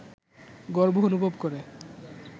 গর্ব অনুভব করে